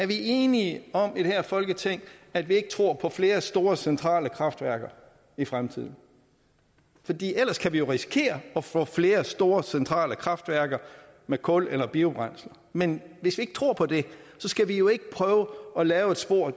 vi er enige om i det her folketing at vi ikke tror på flere store centrale kraftværker i fremtiden fordi ellers kan vi jo risikere at få flere store centrale kraftværker med kul eller biobrændsel men hvis vi ikke tror på det skal vi jo ikke prøve at lave et spor